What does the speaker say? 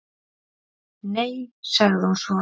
"""Nei, sagði hún svo."""